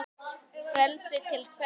Frelsi til hvers?